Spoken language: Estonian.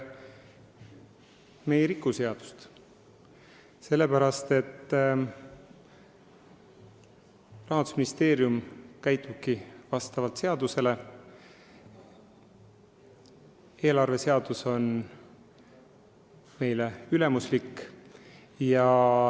Me ei riku seadust, Rahandusministeerium käitub vastavalt seadusele ja eelarveseadus on meile ülemuslik.